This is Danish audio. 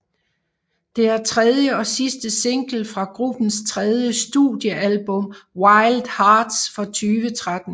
Det er tredje og sidste single fra gruppens tredje studiealbum Wild Hearts fra 2013